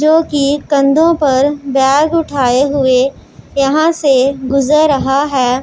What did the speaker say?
जोकि कंधों पर बैग उठाए हुए यहां से गुजर रहा है।